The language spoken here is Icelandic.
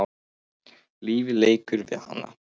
Lífið leikur við hana.